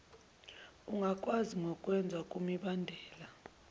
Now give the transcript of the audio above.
ingakwazi ngokwengeza kumibandela